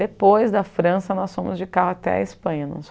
Depois da França, nós fomos de carro até a Espanha.